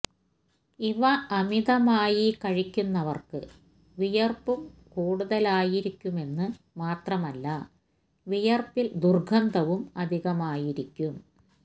ഇവ അമിതമായി കഴിക്കുന്നവർക്ക് വിയർപ്പു കൂടുതലായിരിക്കുമെന്നു മാത്രമല്ല വിയർപ്പിൽ ദുർഗന്ധവും അധികമായിരിക്കും